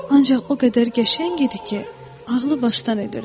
Ancaq o qədər qəşəng idi ki, ağlı başdan edirdi.